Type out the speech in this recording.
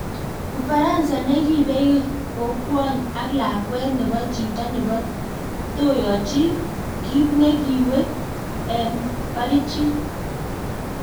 Ufaransa ne kibey kokwony ak lakwet nebo chito nebo toyochi kit ne kiwet en barichik.